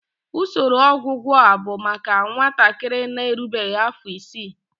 Usoro ọgwụgwọ a bụ maka nwatakịrị na-erubeghị afọ isii.